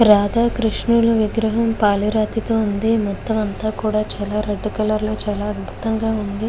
రాధా కృష్ణుల విగ్రహం పాలి రాతతో ఉంది. మొత్తం అంతా కూడా చాలా రెడ్ కలర్ లో చాలా అద్భుతంగా ఉంది.